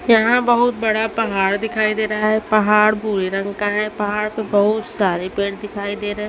यहां बहुत बड़ा पहाड़ दिखाई दे रहा है पहाड़ भूरे रंग का है पहाड़ पे बहुत सारे पेड़ दिखाई दे रहें--